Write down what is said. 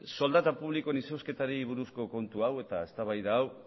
soldata publikoen izozketari buruzko kontu hau eta eztabaida hau